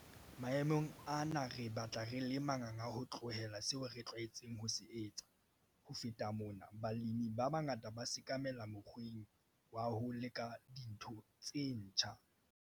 Maemong ana re batla re le manganga ho tlohela seo re tlwaetseng ho se etsa. Ho feta mona, balemi ba bangata ba sekamela mokgweng wa ho leka dintho tse ntjha.